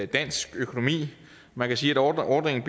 dansk økonomi man kan sige at ordningen